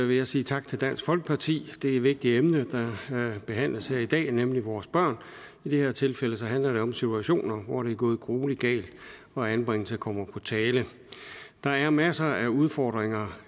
vil jeg sige tak til dansk folkeparti det er et vigtigt emne der behandles her i dag nemlig vores børn i det her tilfælde handler det om situationer hvor det er gået gruelig galt og anbringelse kommer på tale der er masser af udfordringer